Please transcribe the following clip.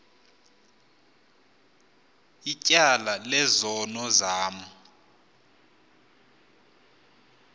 ityala lezono zam